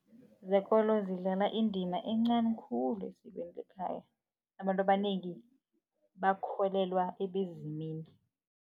Zekolo zidlala indima encani khulu esikweni lekhaya. Abantu abanengi bakholelwa ebezimini.